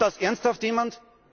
Glaubt das ernsthaft jemand?